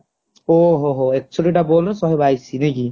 ଓହୋହୋ ଏକଷଠି ତ ball ରେ ସାହେ ବାଇଶି ନାଇକି